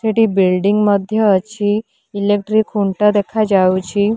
ଏଠି ବିଲ୍ଡିଙ୍ଗ୍ ମଧ୍ୟ ଅଛି ଇଲେକ୍ଟ୍ରିକ୍ ଖୁଣ୍ଟ ଦେଖାଯାଉଛି।